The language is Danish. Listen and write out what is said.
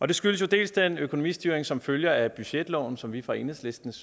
det skyldes til dels den økonomistyring som følger af budgetloven som vi fra enhedslistens